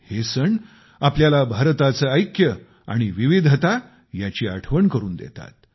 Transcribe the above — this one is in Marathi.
हे सण आपल्याला भारताचे ऐक्य आणि विविधता याची आठवण करून देतात